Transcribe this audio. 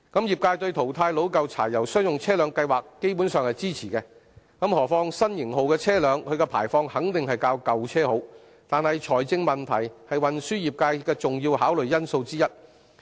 業界對淘汰老舊柴油商用車輛計劃基本上是支持的，何況新型號車輛的排放肯定較舊車好，但財政問題是運輸業界的重要考慮因素之一。